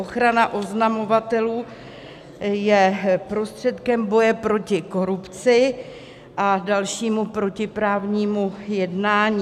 Ochrana oznamovatelů je prostředkem boje proti korupci a dalšímu protiprávnímu jednání.